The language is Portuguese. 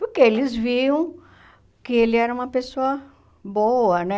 Porque eles viam que ele era uma pessoa boa, né?